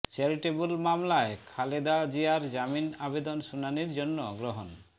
charitable মামলায় খালেদা জিয়ার জামিন আবেদন শুনানির জন্য গ্রহণ